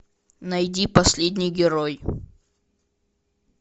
найди последний герой